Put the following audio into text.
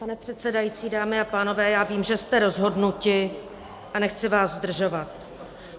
Pane předsedající, dámy a pánové, já vím, že jste rozhodnuti, a nechci vás zdržovat.